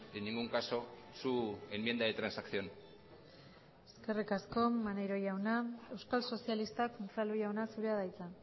en ningún caso su enmienda de transacción eskerrik asko maneiro jauna euskal sozialistak unzalu jauna zurea da hitza